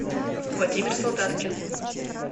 владимир солдаткин